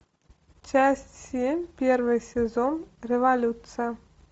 часть семь первый сезон революция